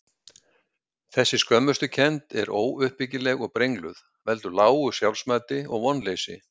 Þessi skömmustukennd, sem er óuppbyggileg og brengluð, veldur lágu sjálfsmati og vonleysi.